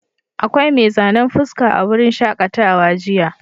Akwai mai zanen fuska a wurin shaƙatawa jiya.